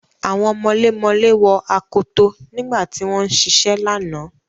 Àwọn mọlémọlẹ́ wọ akoto nígbà tí wọ́n ń ṣiṣẹ́ lánàá.